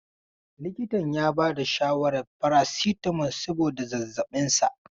Likitan ya bada shawarar farasitamol saboda zazzaɓin sa.